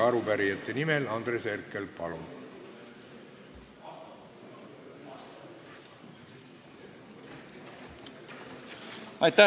Arupärijate nimel Andres Herkel, palun!